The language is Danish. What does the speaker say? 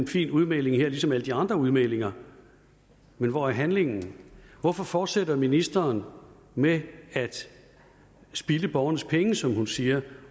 fin udmelding ligesom alle de andre udmeldinger men hvor er handlingen hvorfor fortsætter ministeren med at spilde borgernes penge som hun siger